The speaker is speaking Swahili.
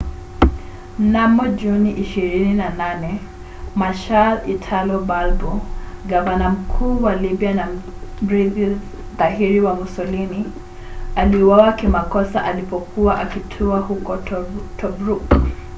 mnamo juni 28 marshal italo balbo gavana mkuu wa libya na mrithi dhahiri wa mussolini aliuawa kimakosa alipokuwa akitua huko tobruk